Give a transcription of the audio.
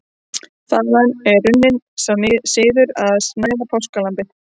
Þaðan er runninn sá siður að snæða páskalambið.